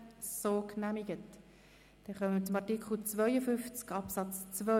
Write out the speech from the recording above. Somit kommen wir zu Artikel 52 Absatz 2.